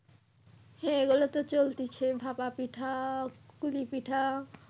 হ্যাঁ এগুলো তো চলতিছে ভাপা পিঠা কুলি পিঠা।